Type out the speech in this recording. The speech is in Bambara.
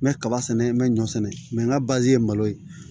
N bɛ kaba sɛnɛ n bɛ ɲɔ sɛnɛ n ka bazi ye malo ye